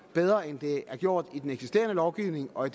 bedre end det er gjort i den eksisterende lovgivning og